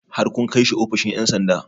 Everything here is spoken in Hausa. Har kun kai shi ofishin ƴan sanda?